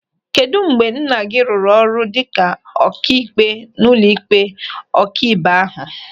Kedụ mgbe nna gị rụrụ ọrụ dịka ọkaikpe n'ụlọịkpe ọkaibe ahu?